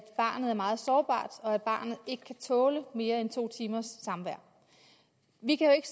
barnet er meget sårbart og at barnet ikke kan tåle mere end to timers samvær vi kan jo ikke